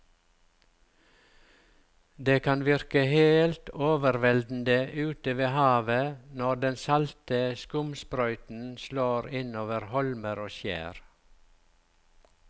Det kan virke helt overveldende ute ved havet når den salte skumsprøyten slår innover holmer og skjær.